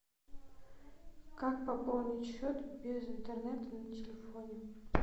как пополнить счет без интернета на телефоне